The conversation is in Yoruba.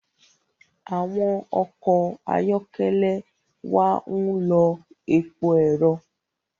Awọn ọkọ ayọkẹlẹ wà n ló èpò ẹrọ